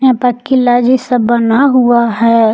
भड़कीला जैसा बना हुआ हैं।